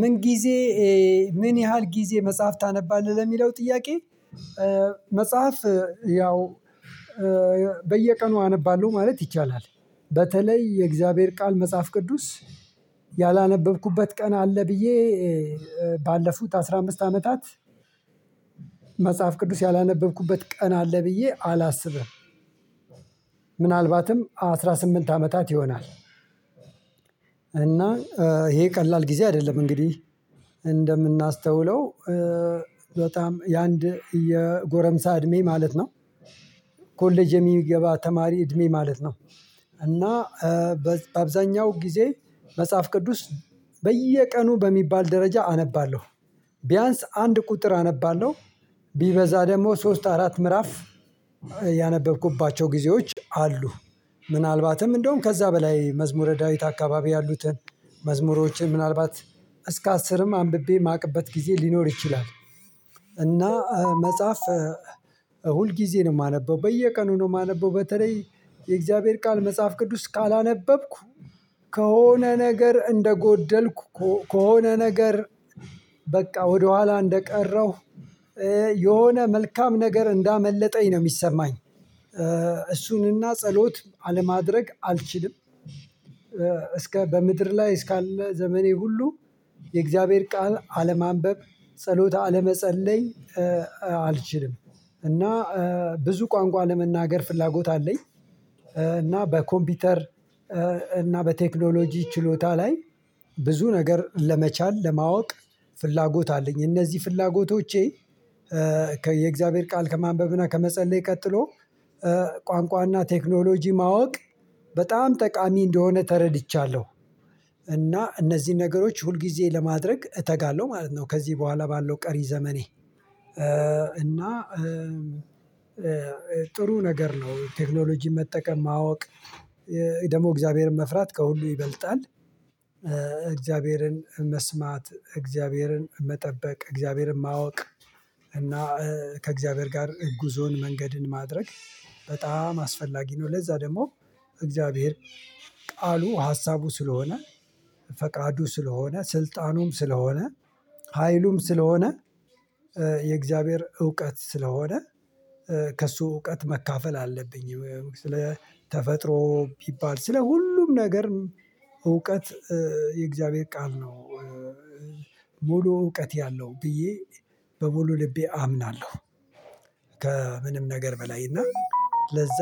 ምን ጊዜ ምን ያህል ጊዜ መጽሐፍ ታነባለህ ለሚለው ጥያቄ? መጽሐፍ ያው በየቀኑ አነባለሁ ማለት ይቻላል። በተለይ የእግዚአብሔር ቃል መጽሐፍ ቅዱስ ያላነበብኩበት ቀን አለ። ብዬ ባለፉት አስራ አምስት አመታት መጽሐፍ ቅዱስ ያላነበብኩበት ቀን አለ ብዬ አላስብም። ምናልባትም አስራ ስምንት አመታት ይሆናል። እና ይሄ ቀላል ጊዜ አይደለም እንግዲህ እንደምናስተውለው በጣም የአንድ የጎረምሳ እድሜ ማለት ነው። ኮሌጅ የሚገባ ተማሪ እድሜ ማለት ነው። እና በአብዛኛው ጊዜ መጽሐፍ ቅዱስ በየቀኑ በሚባል ደረጃ አነባለሁ ቢያንስ አንድ ቁጥር አነባለሁ ቢበዛ ደግሞ ሶስት አራት ምዕራፍ ያነበብኩባቸው ጊዜዎች አሉ። ምናልባትም እንደውም ከዛ በላይ መዝሙረ ዳዊት አካባቢ ያሉትን መዝሙሮችን ምናልባት እስከ አስርም አንብቤ የማቅበት ጊዜ ሊኖር ይችላል። እና መጽሐፍ ሁል ጊዜ ነው የማነበው በየቀኑ ነው የማነበው በተለይ የእግዚአብሔር ቃል መጽሐፍ ቅዱስ ካላነበብኩ ከሆነ ነገር እንደጎደልኩ ከሆነ ነገር በቃ ወደኋላ እንደቀረሁ የሆነ መልካም ነገር እንዳመለጠኝ ነው የሚሰማኝ። እሱንም እና ጸሎት አለማድረግ አልችልም እስከ በምድር ላይ እስካለ ዘመኔ ሁሉ የእግዚአብሔር ቃል አለማንበብ ጸሎት አለመጸለይ አልችልም። እና ብዙ ቋንቋ ለመናገር ፍላጎት አለኝ። እና በኮምፒውተር እና በቴክኖሎጂ ችሎታ ላይ ብዙ ነገር ለመቻል ለማወቅ ፍላጎት አለኝ። እነዚህ ፍላጎቶቼ የእግዚአብሔር ቃል ከማንበብና ከመጸለይ ቀጥሎ ቋንቋና ቴክኖሎጂ ማወቅ በጣም ጠቃሚ እንደሆነ ተረድቻለሁ። እና እነዚህን ነገሮች ሁልጊዜ ለማድረግ እተጋለሁ ማለት ነው ከዚህ በኋላ ባለው ቀሪ ዘመኔ። እና ጥሩ ነገር ነው ቴክኖሎጂ መጠቀም ማወቅ። ደግሞ እግዚአብሔርን መፍራት ከሁሉ ይበልጣል። እግዚአብሔርን መስማት እግዚአብሔርን መጠበቅ እግዚአብሔርን ማወቅ እና ከእግዚአብሔር ጋር ጉዞን መንገድን ማድረግ በጣም አስፈላጊ ነው። ለዛ ደግሞ እግዚአብሔር ቃሉ ሀሳቡ ስለሆነ ፈቃዱ ስለሆነ ስልጣኑም ስለሆነ ሀይሉም ስለሆነ የእግዚአብሔር እውቀት ስለሆነ ከእሱ እውቀት መካፈል አለብኝ። ስለ ተፈጥሮ ቢባል ስለ ሁሉም ነገር እውቀት የእግዚአብሔር ቃል ነው። ሙሉ እውቀት ያለው ብዬ በሙሉ ልቤ አምናለሁ። ከምንም ነገር በላይ እና ለዛ